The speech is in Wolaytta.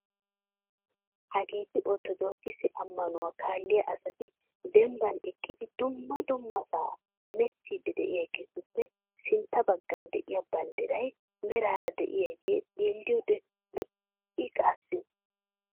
Hageeti orttodokkisse ammanuwa kaalliya asati dembban eqidi dumma dummasaa heemettiidi deiyageetuppe sintta baggan de'iya banddray meraara de'iyagee xeeliyodde lo'ii qassi.